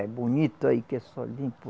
É bonito aí que é só limpo.